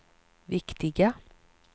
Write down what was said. viktiga